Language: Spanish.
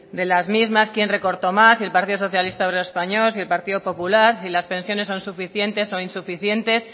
de las mismas quién recortó más si el partido socialista obrero español si el partido popular si las pensiones son suficientes o insuficiente